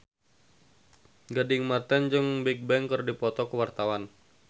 Gading Marten jeung Bigbang keur dipoto ku wartawan